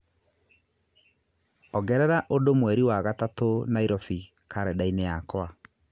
ongerera ũndũ mweri wa gatatũ Nairobi karenda-inĩ yakwa